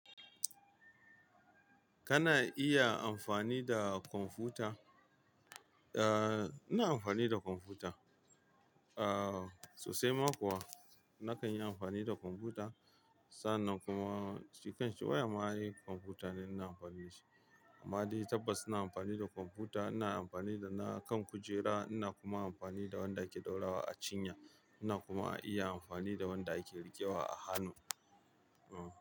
Kana iya amfani da computa? Eh, ina amfani da computa. Sosai ma kuwa nakan yi amfani da computa. Sannan kuma shi kanshi waya ma ai computa ne ina amfani da shi. Amma dai tabbas ina amfani da computa. Ina amfani da na kan kujera ina kuma amfani da wanda ake ɗora a cinya. Ina kuma iya amfani da wanda ake riƙewa a hannu.